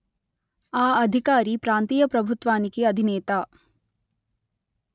ఆ అధికారి ప్రాంతీయ ప్రభుత్వానికి అధినేత